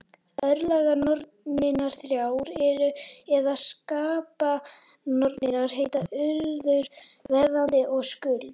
Örlaganornirnar þrjár, eða skapanornirnar, heita Urður, Verðandi og Skuld.